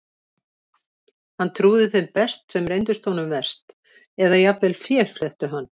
Hann trúði þeim best sem reyndust honum verst, eða jafnvel féflettu hann.